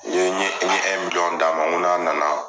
N ye dama ma nko n'a nana.